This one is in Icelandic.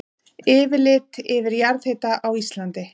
Yfirlit yfir jarðhita á Íslandi.